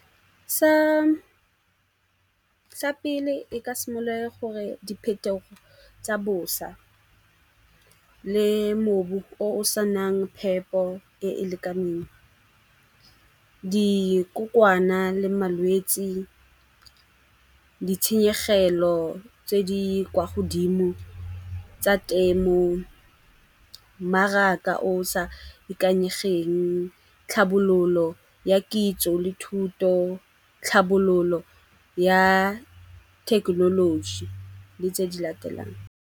Sa pele e ka simolola gore diphetogo tsa bosa le mobu o o sa nang phepo e e lekaneng. Dikokwana le malwetsi, ditshenyegelo tse di kwa godimo tsa temo, mmaraka o sa ikanyegeng, tlhabololo ya kitso le thuto, tlhabololo ya thekenoloji le tse di latelang.